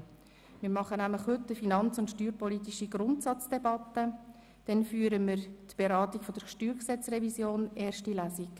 Heute führen wir nämlich eine steuer- und finanzpolitische Grundsatzdebatte und danach die Beratung der StGRevision in erster Lesung.